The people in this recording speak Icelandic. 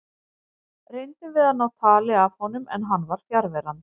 Reyndum við að ná tali af honum en hann var fjarverandi.